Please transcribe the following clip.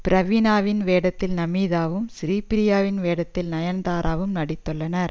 பிரவீணாவின் வேடத்தில் நமிதாவும் ஸ்ரீப்ரியாவின் வேடத்தில் நயன்தாராவும் நடித்துள்ளனர்